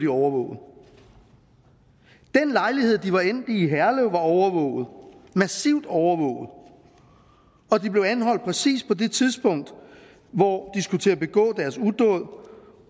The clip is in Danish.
overvåget den lejlighed de var endt i i herlev var overvåget massivt overvåget og de blev anholdt på præcis det tidspunkt hvor skulle til at begå deres udåd